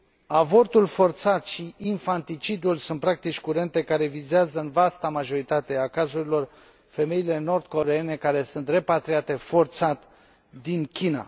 Avortul forțat și infanticidul sunt practici curente care vizează, în vasta majoritate a cazurilor, femeile nord coreeene, care sunt repatriate forțat din China.